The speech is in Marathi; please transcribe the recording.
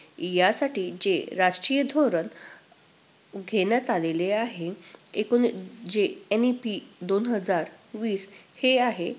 यासाठी जे राजकीय धोरण घेण्यात आलेले आहे, एकूण~जे NEP दोन हजार वीस हे आहे.